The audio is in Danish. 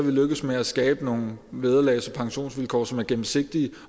lykkedes med at skabe nogle vederlags og pensionsvilkår som er gennemsigtige